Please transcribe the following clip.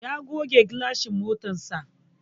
Ya goge gilashin motarsa.